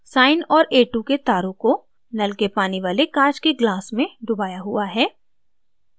sine और a2 के तारों को नल के पानी वाले काँच के glass में डुबाया हुआ है